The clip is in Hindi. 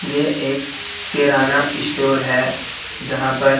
ये एक किराना स्टोर है जहां पर--